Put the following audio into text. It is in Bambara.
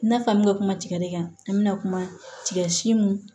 I n'a f'an be kuma tigɛ de kan an bi na kuma tigɛ si mun